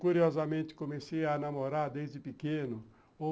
Curiosamente, comecei a namorar desde pequeno.